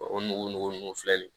O nugu nugu ninnu filɛ nin